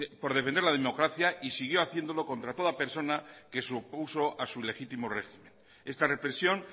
por defender la democracia y siguió haciéndolo contra toda persona que se opuso a su ilegítimo régimen esta represión